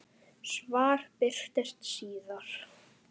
Svar birtist síðar.